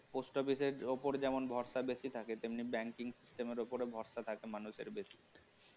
Post Office এর ওপর ভরসা বেশি থাকে তেমনি banking system এর ওপর ভরসা থাকে মানুষের বেশি না